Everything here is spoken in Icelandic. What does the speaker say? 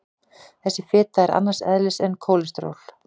Þessi fita er annars eðlis en kólesteról.